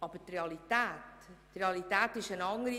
Aber die Realität ist eine andere.